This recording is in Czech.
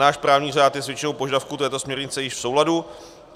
Náš právní řád je s většinou požadavků této směrnice již v souladu.